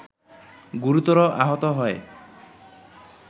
গুরুতর আহত হয়